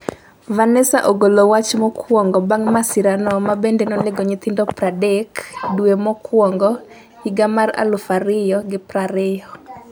venessa ogolo wach mokuongo bang masirano ma bende nonego nyathine 30 dwe mokuongo 2020